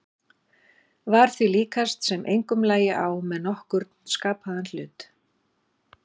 Var því líkast sem engum lægi á með nokkurn skapaðan hlut.